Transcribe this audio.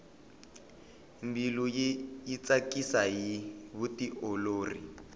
mbilu yi tsakisa hi vutiolori